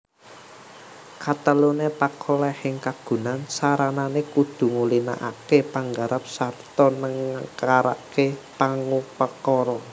Kateluné pakolèhing kagunan saranané kudu ngulinakaké panggarap sarta nengkaraké pangupakara